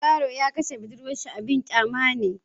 Yaron ya kashe budurwarsa abin kyama ne.